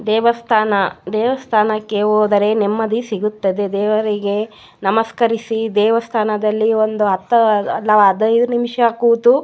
ದೇವಸ್ತಾನ ದೆವಸ್ಥಾನಕ್ಕೆ ಹೋದರೆ ನೆಮ್ಮದಿ ಸಿಗುತ್ತದೆ ದೇವರಿಗೆ ನಮಸ್ಕರಿಸಿ ದೇವಸ್ಥಾನದಲ್ಲಿ ಒಂದು ಹತ್ತು ಹದಿನೈದು ನಿಮಿಷ ಕೂತು --